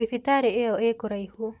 Thibitarĩ ĩyo ikũraihu.